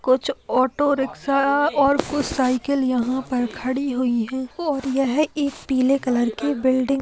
कुछ auto rickshaw और कुछ साइकिल यहाँ पर खड़ी हुई है और यह एक पीले कलर की बिल्डिंग --